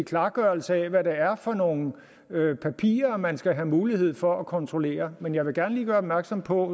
klargørelse af hvad det er for nogle papirer man skal have mulighed for at kontrollere men jeg vil gerne lige gøre opmærksom på